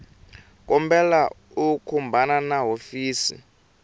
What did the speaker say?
kombela u khumbana na hofisi